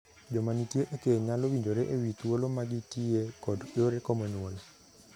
Joma nitie e keny nyalo winjore e wii thuolo ma gitiye kod yore komo nyuol.